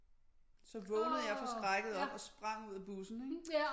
Så vågnede jeg forskrækket op og sprang ud af bussen ikke